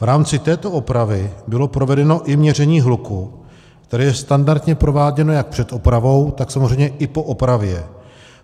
V rámci této opravy bylo provedeno i měření hluku, které je standardně prováděno jak před opravou, tak samozřejmě i po opravě.